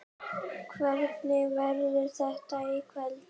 Hvernig verður þetta í kvöld?